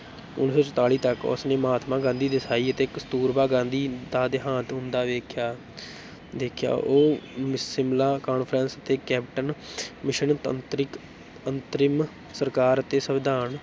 ਉੱਨੀ ਸੌ ਚੁਤਾਲੀ ਤੱਕ ਉਸ ਨੇ ਮਹਾਤਮਾ ਗਾਂਧੀ, ਦੇਸਾਈ ਅਤੇ ਕਸਤੂਰਬਾ ਗਾਂਧੀ ਦਾ ਦਿਹਾਂਤ ਹੁੰਦਾ ਦੇਖਿਆ ਦੇਖਿਆ ਉਹ ਸਿਮਲਾ conference ਤੇ cabinet mission ਤੰਤਰਿਕ ਅੰਤਰਿਮ ਸਰਕਾਰ ਅਤੇ ਸੰਵਿਧਾਨ